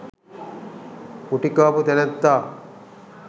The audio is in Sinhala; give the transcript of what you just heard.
ගුටිකාපු තැනැත්තා